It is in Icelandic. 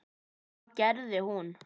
Og hvað gerði hún?